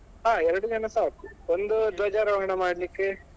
ಹಾ ಎರಡು ಜನ ಸಾಕು ಒಂದು ಧ್ವಜಾರೋಹಣ ಮಾಡ್ಲಿಕ್ಕೆ